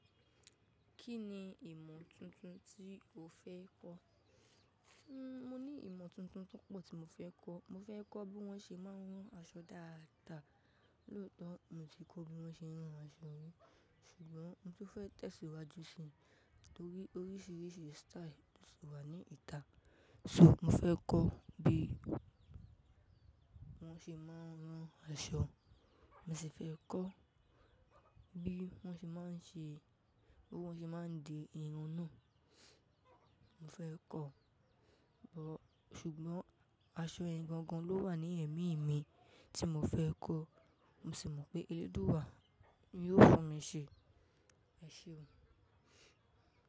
Kí ni ìmọ̀ tuntun tí o fẹ́ kọ́? Hmm, mo ní ìmọ̀ tuntun tọpo tí mo fẹ́ kọ́. Mo fẹ́ kọ́ bí wọ́n ṣe máa ń rán aṣọ dáadáa. Lóòótọ́ mo ti kọ́ bí wọ́n ṣe ń rán aṣọ mi, ṣùgbọ́n mo fẹ́ tẹ̀síwájú si torí oríṣiríṣi style sì wà ní ìta. So mo fẹ́ kọ́ bí wọ́n ṣe máa ń rán aṣọ. Mo sì fẹ́ kọ́ bí wọ́n ṣe máa ń ṣe-- bí wọ́n ṣe máa ń de irun náà. Mo fẹ́ kọ́, but-- ṣùgbọ́n aṣọ ẹni gangan ló wà ní ẹ̀mí mi tí mo fẹ́ kọ́. Mo sì mọ̀ pé Elédùwa yóò fún mi ṣe. Ẹ ṣeun.